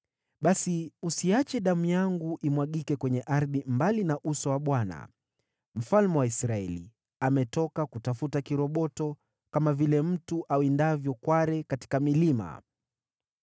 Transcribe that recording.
Basi usiache damu yangu imwagike kwenye ardhi mbali na uso wa Bwana . Mfalme wa Israeli ametoka kutafuta kiroboto, kama vile mtu awindavyo kware katika milima.”